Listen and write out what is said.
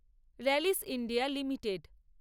রালিস India limited